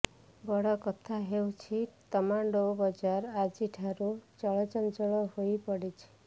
ବଡ଼ କଥା ହେଉଛି ତମାଣ୍ଡୋ ବଜାର ଆଜିଠାରୁ ଚଳଚଞ୍ଚଳ ହୋଇପଡ଼ିଛି